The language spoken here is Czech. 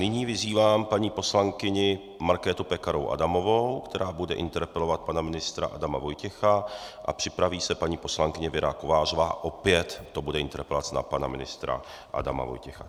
Nyní vyzývám paní poslankyni Markétu Pekarovou Adamovou, která bude interpelovat pana ministra Adama Vojtěcha, a připraví se paní poslankyně Věra Kovářová, opět to bude interpelace na pana ministra Adama Vojtěcha.